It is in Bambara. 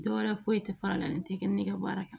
Dɔwɛrɛ foyi tɛ fara a la n tɛ kɛ ne ka baara kan